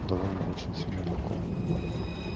довольно очень сильно легко